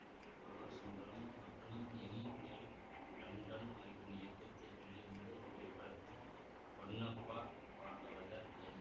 R Sundaram மற்றும் M L Tandon ஆகியோரின் இயக்கத்தில் வெளிவந்த இத்திரைப்படத்தில் ஹொன்னப்பா பாகவதர் என்